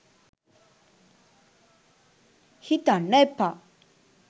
හිතන්න එපා.